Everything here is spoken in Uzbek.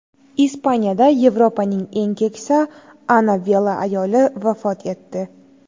Ispaniyada Yevropaning eng keksa Ana Vela ayoli vafot etdi.